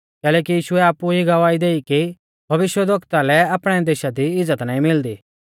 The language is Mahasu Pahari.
कैलैकि यीशुऐ आपु ई गवाही देई कि भविष्यवक्ता लै आपणै देशा दी इज़्ज़त नाईं मिलदी